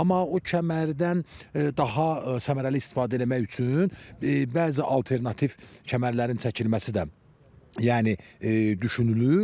Amma o kəmərdən daha səmərəli istifadə eləmək üçün bəzi alternativ kəmərlərin çəkilməsi də yəni düşünülür.